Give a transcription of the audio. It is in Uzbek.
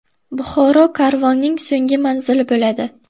Buxoro karvonning so‘nggi manzili bo‘ladi.